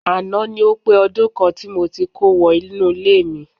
Àná ni ó pé ọdún kan tí mo ti kó wọ inú ilé mi